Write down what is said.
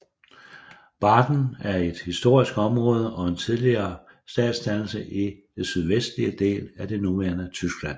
Baden er et historisk område og en tidligere statsdannelse i den sydvestlige del af det nuværende Tyskland